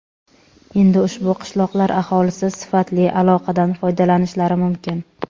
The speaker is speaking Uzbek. Endi ushbu qishloqlar aholisi sifatli aloqadan foydalanishlari mumkin.